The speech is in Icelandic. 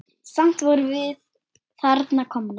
Samt vorum við þarna komnar.